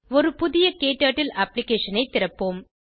ஒரு புதிய க்டர்ட்டில் அப்ளிகேஷன் ஐ திறப்போம்